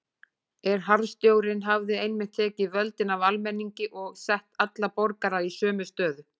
En harðstjórnin hafði einmitt tekið völdin af almenningi og sett alla borgara í sömu stöðu.